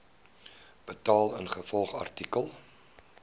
betaal ingevolge artikel